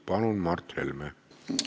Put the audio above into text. Palun, Mart Helme!